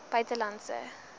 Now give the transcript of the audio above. buitelandse